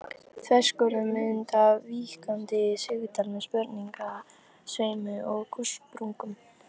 Þverskurðarmynd af víkkandi sigdal með sprungusveimi og gossprungum.